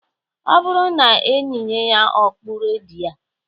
Ọ bụrụ na eyinye ya okpu redi a